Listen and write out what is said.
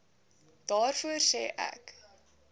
daarvoor sê ek